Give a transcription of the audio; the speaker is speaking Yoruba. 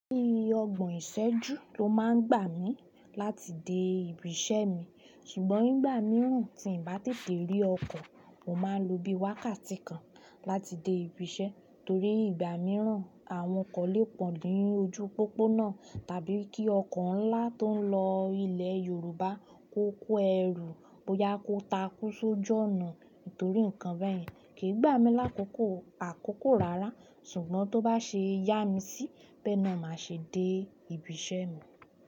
Bií ọgbọ̀n ìsẹ́jú ló máa ń gbà mí láti dé ibi iṣẹ́ mi, ṣùgbọ́n ìgbà mìíràn tí ǹ bá tètè rí ọkọ̀, mo máa ń lo bí wákàtí kan láti dé ibi iṣẹ́ torí ìgbà mìíràn àwọn ọkọ̀ lè pọ̀ ní ojú pópónà tàbí kí ọkọ̀ ńlá tó ń lọ ilẹ̀ Yorùbá kó kó ẹrù ó yá kó takú sójọ́ ọ̀nà. Nítorí nǹkan bẹ́ẹ̀ kí í gbà mí lákòókò àkókò rara ṣùgbọ́n tó bá ṣe yá mi sí bẹ́ẹ̀ náà, màá ṣe dé ibi iṣẹ́ mi.